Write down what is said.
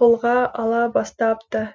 қолға ала бастапты